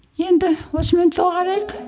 енді осымен доғарайық